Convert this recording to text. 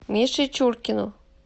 мише чуркину